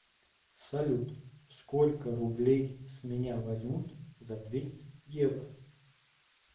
салют сколько рублей с меня возьмут за двести евро